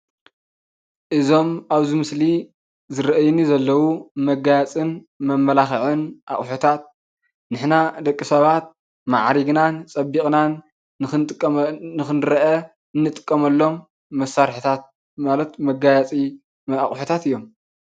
እዞም ኣብዚ ምስሊ ዝራኣዩ ዘለው መጋየፅን መማላኸዒን ኣቑሑታት ንሕና ደቂሰባት ማዕሪግናን ፅቢቕናን ንኽንረአ እንጥቀመሎም መሳሪሒታት ማለት መጋየፂን መማላኸዒን ኣቑሑታት እዮም።